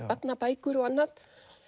barnabækur og annað